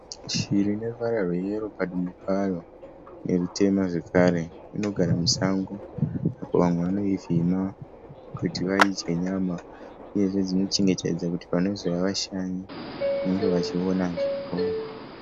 Shiri ineruvaro rweyero padumbu payo nerutema zvakare. Inogara musango. Vamwe vanoivhima kuti vadye nyama uyezve dzinochengetedzwa kuti panozouya vashanyi vange vachionawo.